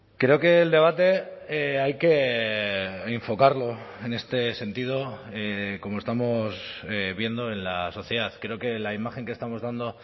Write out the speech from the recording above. creo que el debate hay que enfocarlo en este sentido como estamos viendo en la sociedad creo que la imagen que estamos dando